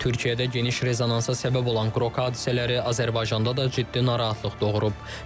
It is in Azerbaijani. Türkiyədə geniş rezonansa səbəb olan Qrok hadisələri Azərbaycanda da ciddi narahatlıq doğurub.